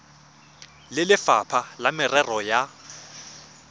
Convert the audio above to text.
le lefapha la merero ya